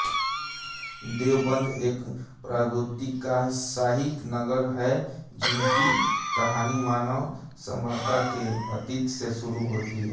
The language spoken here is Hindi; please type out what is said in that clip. देवबंद एक प्रागैतिकहासिक नगर है जिसकी कहानी मानव सभ्यता के अतीत से शुरु होती है